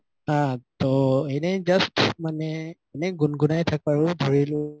হা ত এনে just মানে এনে গুন গুনাই থাকো আৰু ধৰিলো